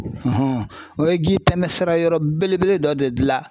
o ye ji tɛmɛ sira yɔrɔ belebele dɔ de dilan .